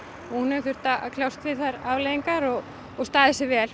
hún hefur þurft að kljást við þær afleiðingar og og staðið sig